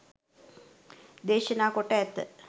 දේශනා කොට ඇත.